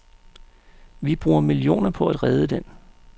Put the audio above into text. Vi bruger millioner på at redde den.